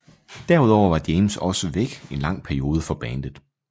Derudover var James også væk en lang periode fra bandet